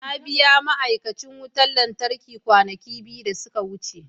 Na biya ma'aikacin wutar lantarki kwanaki biyu da suka wuce.